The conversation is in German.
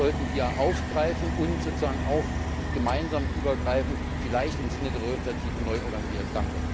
Das sollten wir aufgreifen und sozusagen auch gemeinsam übergreifend vielleicht im Sinne der Bürgerinitiative neu organisieren!